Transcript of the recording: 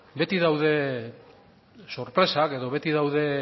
beti daude sorpresak edo beti daude